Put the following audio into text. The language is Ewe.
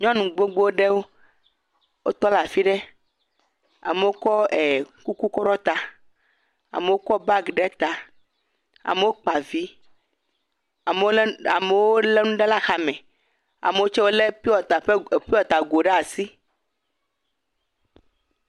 Nyɔnu gbogbo ɖewo wotɔ ɖe afio ɖe amewo kɔ kuku kɔ ɖɔ ɖe ta, amewo kɔ bagi ɖe ta, amewo kpa vi amewo lé nu ɖe axa me, amewo tse wolé pure water go ɖe asi.